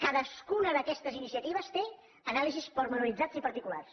cadascuna d’aquestes iniciatives té anàlisis detallades i particulars